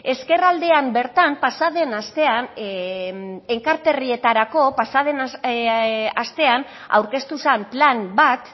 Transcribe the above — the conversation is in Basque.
ezkerraldean bertan pasaden astean enkarterrietarako pasaden astean aurkeztu zen plan bat